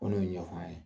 O de y'o ɲɛfɔ an ye